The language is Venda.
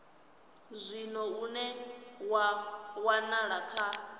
zwino une wa wanala kha